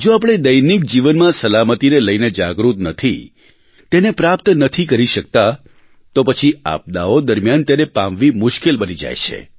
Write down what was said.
જો આપણે દૈનિક જીવનમાં સલામતીને લઇને જાગૃત નથી તેને પ્રાપ્ત નથી કરી શકતા તો પછી આપદાઓ દરમિયાન તેને પામવી મુશ્કેલ બની જાય છે